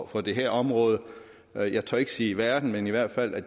for det her område jeg tør ikke sige i verden men i hvert fald af